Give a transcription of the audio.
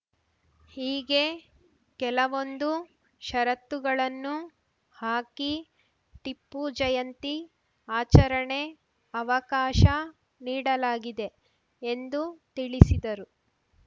ಹೀಗೆ ಕೆಲವೊಂದು ಷರತ್ತುಗಳನ್ನು ಹಾಕಿ ಟಿಪ್ಪು ಜಯಂತಿ ಆಚರಣೆ ಅವಕಾಶ ನೀಡಲಾಗಿದೆ ಎಂದು ತಿಳಿಸಿದರು